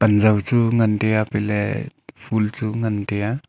panjao chu ngan tai a chatle phool chu ngan a.